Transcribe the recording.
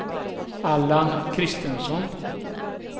Allan Christensson